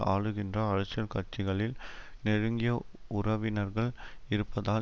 ஆளுகின்ற அரசியல் கட்சிகளில் நெருங்கிய உறவினர்கள் இருப்பதால்